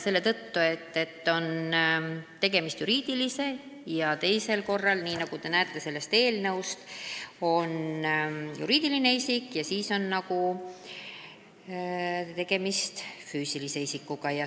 Selle tõttu, et tegemist on ühel korral juriidilise isikuga ja teisel korral, nagu te näete sellest eelnõust, füüsilise isikuga.